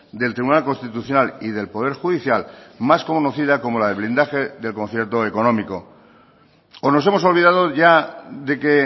del tribunal constitucional y del poder judicial más conocida como la de blindaje del concierto económico o nos hemos olvidado ya de que